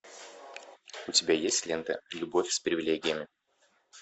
у тебя есть лента любовь с привилегиями